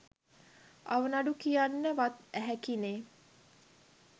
අවනඩුව කියන්න වත් ඇහැකිනේ